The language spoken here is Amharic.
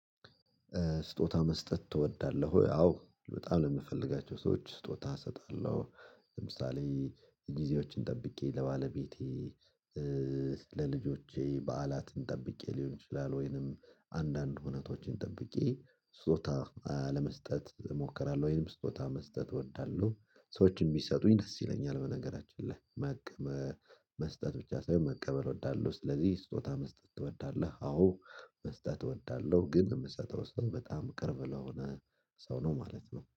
ስጦታ መስጠት ትወዳለህ? ወይ አዎ በጣም ለምፈልጋቸው ሰዎች ስጦታ እሰጣለሁ። ለምሳሌ ጊዜዎችን ጠብቄ ለባለቤቴ ለልጆቼ በዓላትን ጠብቄ ሊሆን ይችላል ወይንም አንዳንድ ሁነቶችን ጠብቄ ስጦታ ለመስጠት እሞክራለሁ። ወይንም ስጦታ መስጠት እወዳለሁ። ሰዎችን የሚሰጡኝ ደስ ይለኛል። በነገራችን ላይ መቀበል መስጠት ብቻ ሳይሆን መቀበል እወዳለሁ። ስለዚህ ስጦታ መስጠት ትወዳለህ? አዎ መስጠት እወዳለሁ። ግን የምሰጠው ሰው በጣም ቅርብ ለሆነ ሰው ነው ማለት ነው